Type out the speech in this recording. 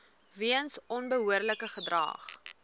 weens onbehoorlike gedrag